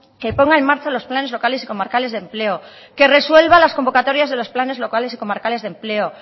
que ponga en marcha los planes locales y comarcales de empleo que resuelva las convocatorias de los planes locales y comarcales de empleo